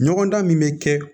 Ɲɔgɔn dan min bɛ kɛ